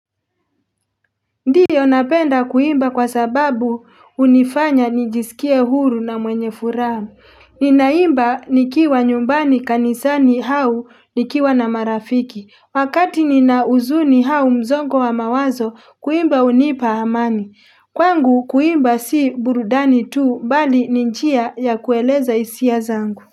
Ndio napenda kuimba kwa sababu hunifanya nijisikia huru na mwenye furaha, ninaimba nikiwa nyumbani kanisani au nikiwa na marafiki, wakati nina huzuni au msongo wa mawazo kuimba hunipa amani, kwangu kuimba si burudani tu mbali ni njia ya kueleza hisia zangu.